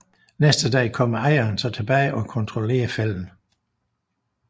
Næste dag kommer ejeren så tilbage og kontrollerer fælden